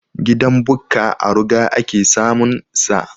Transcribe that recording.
Gidan Bukka a ruga ake samun sa